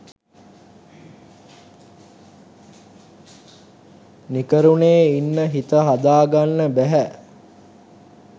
නිකරුණේ ඉන්න හිත හදා ගන්න බැහැ.